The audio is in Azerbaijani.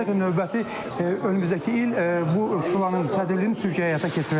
və növbəti önümüzdəki il bu şuranın sədrliyini Türkiyə həyata keçiriləcək.